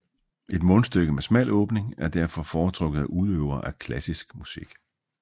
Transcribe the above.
Et mundstyke med smal åbning er derfor foretrukket af udøvere af klassisk musik